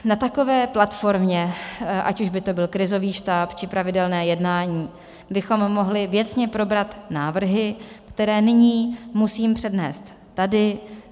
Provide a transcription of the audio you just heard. Na takové platformě, ať už by to byl krizový štáb, či pravidelná jednání, bychom mohli věcně probrat návrhy, které nyní musím přednést tady.